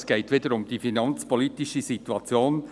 Es geht wieder um die finanzpolitische Situation.